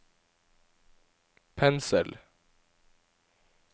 pensel